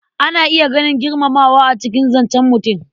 Ana iya ganin girmamawa a cikin zancen mutum.